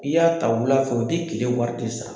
I y'a ta wula fɛ, u bi tile wari de sara.